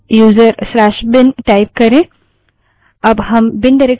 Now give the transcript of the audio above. अब हम bin directory में हैं